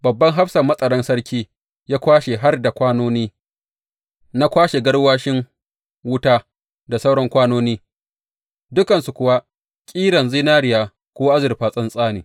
Babban hafsan matsaran sarkin ya kwashe har da kwanoni na kwashe garwashin wuta da sauran kwanoni, dukansu kuwa ƙeran zinariya ko azurfa tsatsa ne.